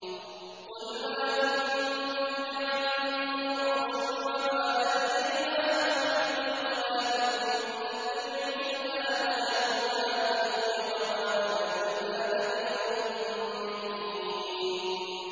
قُلْ مَا كُنتُ بِدْعًا مِّنَ الرُّسُلِ وَمَا أَدْرِي مَا يُفْعَلُ بِي وَلَا بِكُمْ ۖ إِنْ أَتَّبِعُ إِلَّا مَا يُوحَىٰ إِلَيَّ وَمَا أَنَا إِلَّا نَذِيرٌ مُّبِينٌ